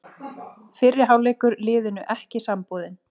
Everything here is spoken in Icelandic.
Fyrri hálfleikur liðinu ekki samboðinn